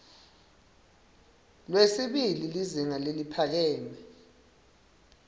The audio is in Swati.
lwesibili lizinga leliphakeme